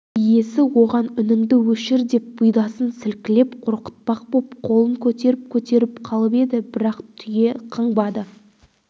иесі оған үніңді өшір деп бұйдасын сілкілеп қорқытпақ боп қолын көтеріп-көтеріп қалып еді бірақ түйе қыңбады